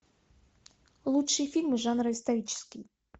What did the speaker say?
лучшие фильмы жанра исторический